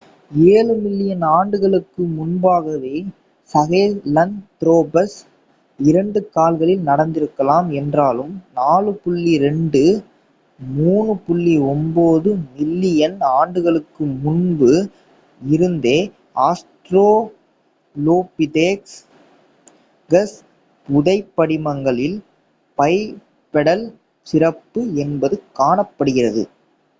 ஏழு மில்லியன் ஆண்டுகளுக்கு முன்பாகவே சஹெலன்த்ரோபஸ் இரண்டு கால்களில் நடந்திருக்கலாம் என்றாலும் 4.2-3.9 மில்லியன் ஆண்டுகளுக்கு முன்பு இருந்தே ஆஸ்ட்ராலோபிதேகஸ் புதைபடிமங்களில் பைபெடல் சிறப்பு என்பது காணப்படுகிறது